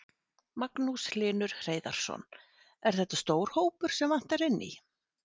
Magnús Hlynur Hreiðarsson: Er þetta stór hópur sem vantar inn í?